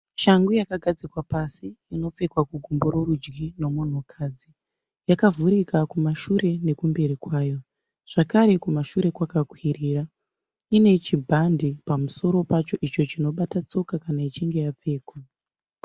Shangu yakagadzikwa pasi inopfekwa kugumbo rerudyi nomunhukadzi. Yakavhurika kumashure nekumberi kwayo zvakare kumashure kwakakwirira. Ine chibhande pamusoro pacho icho chinobata tsoka kana ichinge yapfekwa.